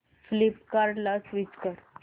फ्लिपकार्टं ला स्विच कर